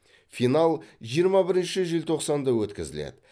финал жиырма бірінші желтоқсанда өткізіледі